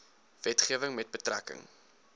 wetgewing met betrekking